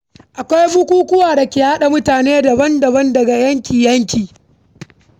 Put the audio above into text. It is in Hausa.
Akwai bukukuwa da ke haɗa mutane daban daban daga yanki yanki.